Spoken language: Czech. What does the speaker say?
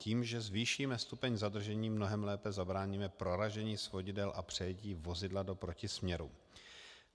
Tím, že zvýšíme stupeň zadržení, mnohem lépe zabráníme proražení svodidel a přejetí vozidla do protisměru.